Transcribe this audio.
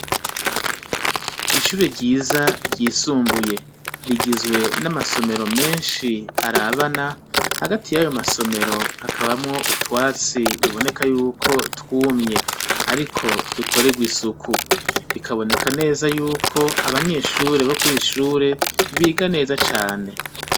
Ishure ryiza ryisumbuye rigizwe n'amasomero menshi arabana hagati y'ayo masomero hakabamwo utwatsi biboneka yuko twumye, ariko dukorerwa isuku bikaboneka neza yuko abanyeshure bo kuri ishure biga neza cane .